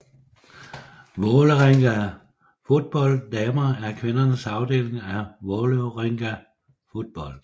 Vålerenga Fotball Damer er kvindernes afdeling af Vålerenga Fotball